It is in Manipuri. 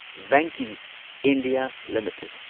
Venky's India limited